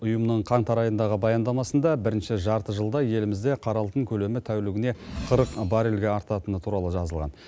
ұйымның қаңтар айындағы баяндамасында бірінші жарты жылда елімізде қара алтын көлемі тәулігіне қырық баррельге артатыны туралы жазылған